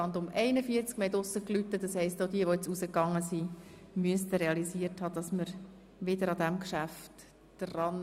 Wir haben draussen geläutet, das heisst, auch diejenigen, die jetzt nach draussen gegangen sind, müssten realisiert haben, dass wir weiterfahren.